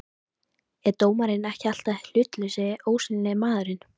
er dómarinn ekki alltaf hlutlausi, ósýnilegi maðurinn?